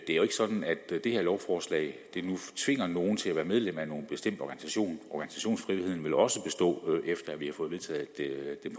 ikke er sådan at det her lovforslag tvinger nogen til at være medlem af nogen bestemt organisation organisationsfriheden vil også bestå efter at vi har fået vedtaget den